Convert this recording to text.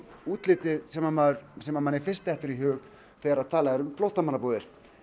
útlitið sem sem manni fyrst dettur í hug þegar talað er um flóttamannabúðir